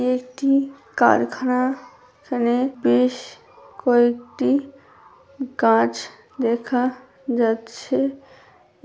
এটি একটি কারখানা এখানে বেশ কয়েকটি গাছ দেখা যাচ্ছে ।